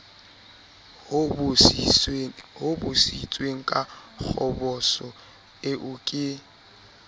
hobositsweng ka kgoboso eo ke